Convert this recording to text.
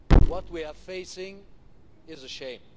What we are facing is a shame.